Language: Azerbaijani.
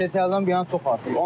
Keçən əldən bu yana çox artıb.